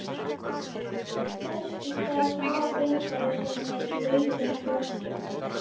Þess í stað þvo geimfarar sér með blautum svömpum.